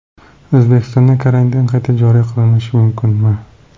O‘zbekistonda karantin qayta joriy qilinishi mumkinmi?